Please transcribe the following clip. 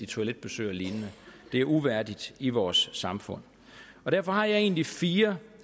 toiletbesøg og lignende det er uværdigt i vores samfund derfor har jeg egentlig fire